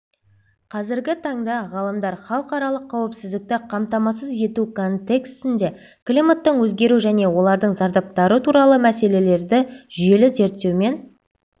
қазіргі таңдағалымдар халықаралық қауіпсіздікті қамтамасыз ету контекстінде климаттың өзгеру және олардың зардаптары туралы мәселелерді жүйелі зерттеумен